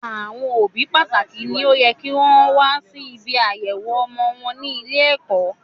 Àwọn òbí pátá ni ó yẹ kí wọn wá sí ibi àyẹ̀wọ̀ ọmọ wọn ní ilé ẹ̀kọ́